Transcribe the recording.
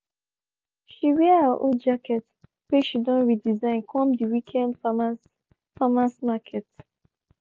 she wear her old jacket whey she don redesign come the weekend farmers' farmers' market